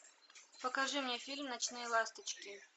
покажи мне фильм ночные ласточки